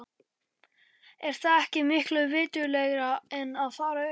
Er það ekki miklu viturlegra en að fara upp?